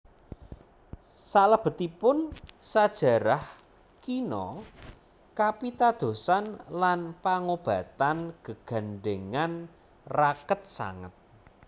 Salebetipun sajarah kina kapitadosan lan pangobatan gegandhèngan raket sanget